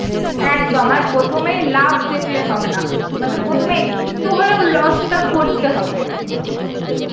একদম আর প্রথমেই লাব দেখলে হবে না, মানে প্রথমে একটু হলেও loss টা করতে হবে